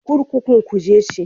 Kurkukun Kuje ce.